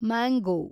mango